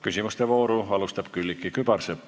Küsimuste vooru alustab Külliki Kübarsepp.